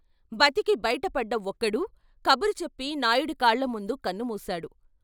బతికి బైటపడ్డ ఒక్కడూ కబురు చెప్పి నాయుడి కాళ్ళ ముందు కన్నుమూశాడు.